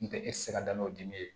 N tɛ e tɛ se ka da n'o dimi ye